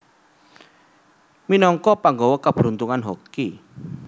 Minagka panggawa keberuntungan Hoki